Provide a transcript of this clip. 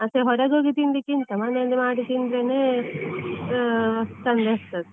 ಮತ್ತೆ ಹೊರಗೆ ಹೋಗಿ ತಿನ್ನುವುದಕಿಂತ ಮನೆಯಲ್ಲೇ ಮಾಡಿ ತಿಂದ್ರೆನೆ, ಹಾ ಚೆಂದ ಇರ್ತದೆ.